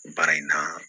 Baara in na